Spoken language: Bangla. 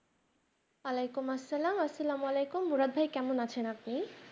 ওয়া আলাইকুম আসসালাম আসসালাম ওয়া আলাইকুম মুরাদ ভাই কেমন আছেন আপনি